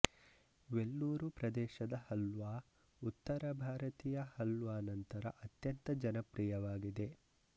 ವೆಲ್ಲೂರು ಪ್ರದೇಶದ ಹಲ್ವಾ ಉತ್ತರ ಭಾರತೀಯ ಹಲ್ವಾ ನಂತರ ಅತ್ಯಂತ ಜನಪ್ರಿಯವಾಗಿದೆ